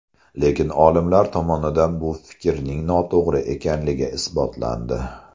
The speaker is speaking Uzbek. Lekin, olimlar tomonidan bu fikrning noto‘g‘ri ekanligi isbotlandi.